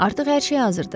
Artıq hər şey hazırdır.